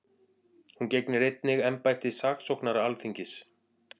Hún gegnir einnig embætti saksóknara Alþingis